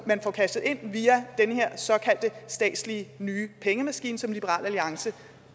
man får cashet ind via den her såkaldte statslige nye pengemaskine som liberal alliance